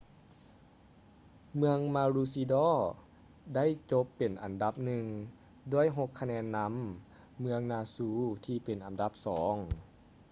ເມືອງມາຣູຊີດໍ maroochydore ໄດ້ຈົບເປັນອັນດັບໜຶ່ງ ດ້ວຍຫົກຄະແນນນຳ ເມືອງນູຊາ noosa ທີ່ເປັນອັນດັບສອງ